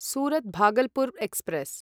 Surat Bhagalpur express